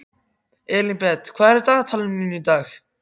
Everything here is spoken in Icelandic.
Elínbet, hvað er í dagatalinu mínu í dag?